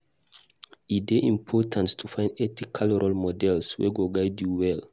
E dey important to find ethical role models wey go guide you well.